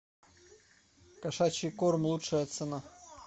кошачий корм лучшая цена